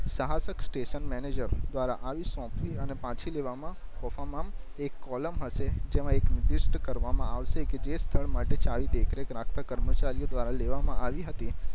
સહાશક station manager દ્વારા આવી સોંપવી અને પાછી લેવા માં કોફમાંમ એક કૉલમ હસે જેમાં એક લિસ્ટ કરવા માં આવસે કે જે સ્થળ માટે ચાવી દેખરેખ રાખતા કર્મચારીઓ દ્વારા લેવા માં આવી હતી